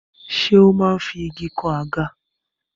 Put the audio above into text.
Ṣé ó máa ń fi igi kan àga?